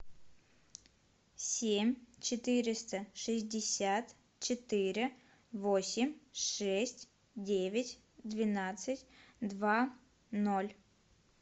семь четыреста шестьдесят четыре восемь шесть девять двенадцать два ноль